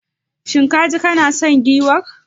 Shin kaji kana son giwar?